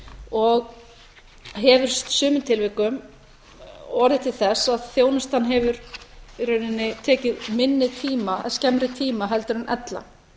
og hefur í sumum tilvikum orðið til þess að þjónustan hefur í rauninni tekið skemmri tíma en ella